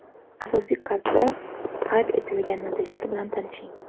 Asosiy kardda qayd etilgan natijalar bilan tanishing: !